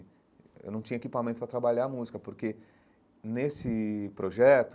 Eu não tinha equipamento para trabalhar a música, porque, nesse projeto,